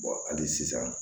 hali sisan